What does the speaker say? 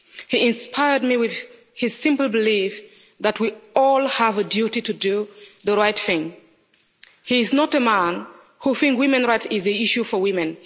He inspired me with his simple belief that we all have a duty to do the right thing. He is not a man who thinks women's rights is an issue for women.